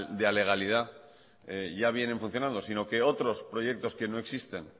de alegalidad ya vienen funcionando sino que otros proyectos que no existen